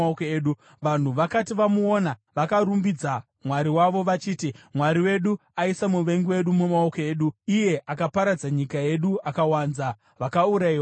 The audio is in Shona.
Vanhu vakati vamuona, vakarumbidza mwari wavo vachiti, “Mwari wedu aisa muvengi wedu mumaoko edu, iye akaparadza nyika yedu akawanza vakaurayiwa vedu.”